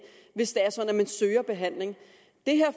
hvis det er sådan at man søger behandling det her